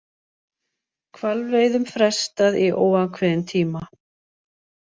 Hvalveiðum frestað í óákveðinn tíma